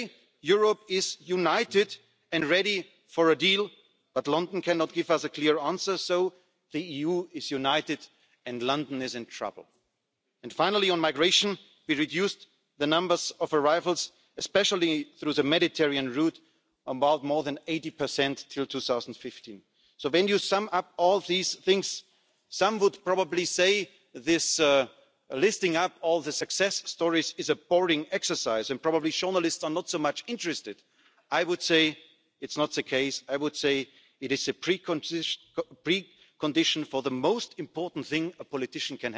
approach, and a new social model. Today's Europe cannot be united and cannot be called united as living conditions in the European Union are still not equal. That's why I think we have to do more on common living conditions and living standards in the European Union. Finally, a people's Europe is a Europe which is strong at global level. You showed in the Oval Office that we are strong economically, a giant and we also